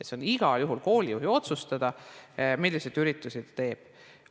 See on igal juhul koolijuhi otsustada, milliseid üritusi ta teeb.